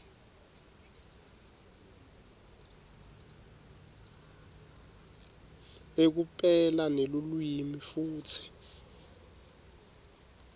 ekupela nelulwimi futsi